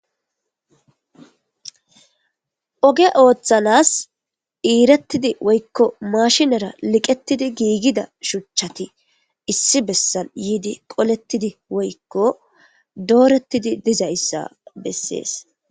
Oge oothanas iiretidi woyko maashinera liqetidi giigida shuchati issi besan yidi koletidi woyko dooreti dizaysa beses.